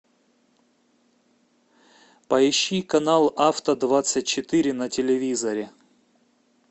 поищи канал авто двадцать четыре на телевизоре